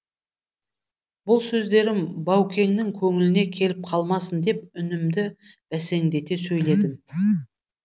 бұл сөздерім баукеңнің көңіліне келіп қалмасын деп үнімді бәсеңдете сөйледім